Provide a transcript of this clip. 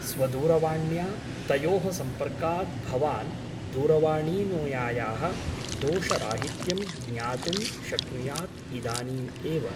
स्वदूरवाण्या तयोः संपर्कात् भवान् दूरवाणीनुयायाः दोषराहित्यं ज्ञातुं शक्नुयात् इदानीम् एव ।